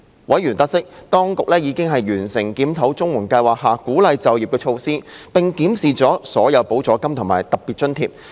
委員得悉，當局已完成檢討綜援計劃下鼓勵就業的措施，並檢視了所有補助金和特別津貼。